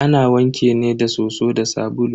Ana wanke ne da soso da sabulu.